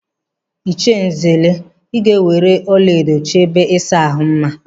Ịchie Nzelu, ị ga-eweere ọlaedo chọọ ebe ịsa ahụ mma!